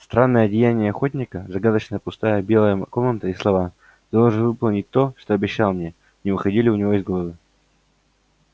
странное одеяние охотника загадочная пустая белая комната и слова ты должен выполнить то что обещал мне не выходили у него из головы